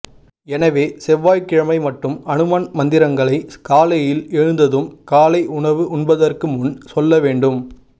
எனவே செவ்வாய் கிழமை மட்டும் அனுமன் மந்திரங்களை காலையில் எழுந்ததும் காலை உணவு உண்பதற்கு முன் சொல்ல வேண்டும்